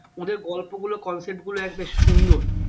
ওদের গল্পগুলো concept গুলো এত সুন্দর